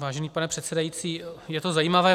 Vážený pane předsedající, je to zajímavé.